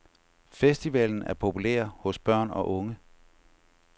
Festivalen er populær hos børn og unge.